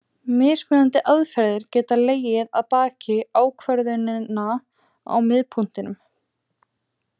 Mismunandi aðferðir geta legið að baki ákvörðuninni á miðpunktinum.